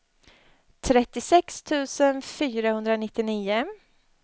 trettiosex tusen fyrahundranittionio